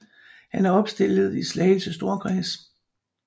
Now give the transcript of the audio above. Han var opstillet i Slagelse storkreds